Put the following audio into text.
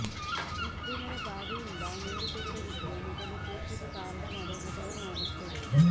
ಮುಸ್ಲಿಮರ ಬಾವಿಯಿಂದ ನೀರು ತೆಗೆದ ವಿಷಯ ಮೊದಲು ಕೇಸಿಗೆ ಕಾರಣವಾದ ಘಟನೆ ಯಾಗಿತ್ತು